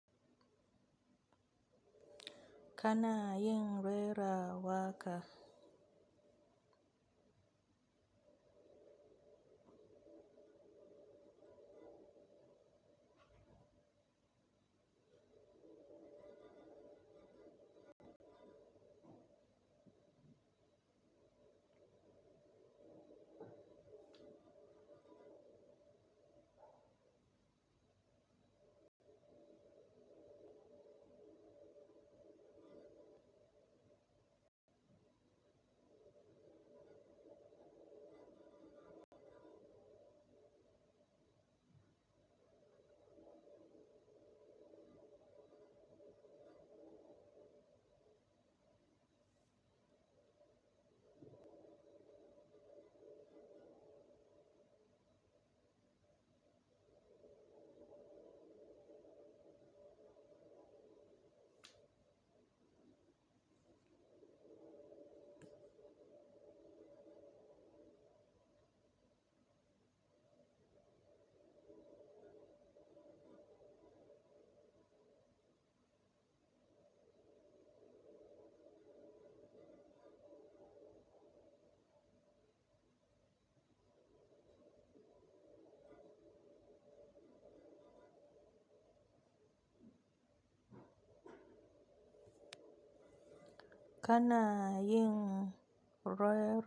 Kana yin rera waka? Kana yin re.